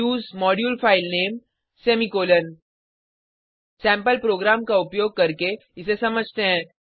उसे module file name semicolon sample program का उपयोग करके इसे समझते हैं